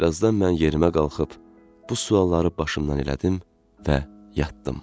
Bir azdan mən yerimə qalxıb bu sualları başımdan elədim və yatdım.